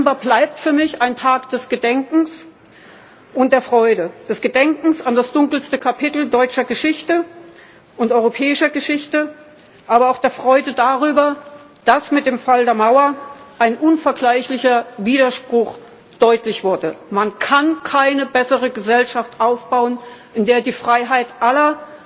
Der 9. November bleibt für mich ein Tag des Gedenkens und der Freude des Gedenkens an das dunkelste Kapitel deutscher und europäischer Geschichte, aber auch der Freude darüber, dass mit dem Fall der Mauer ein unvergleichlicher Widerspruch deutlich wurde Man kann keine bessere Gesellschaft aufbauen, in der die Freiheit